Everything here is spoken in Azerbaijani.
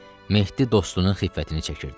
Mehdi dostunun xiffətini çəkirdi.